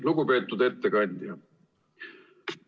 Lugupeetud ettekandja!